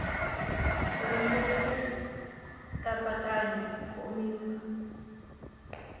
ku ringeta ku katsakanya komisa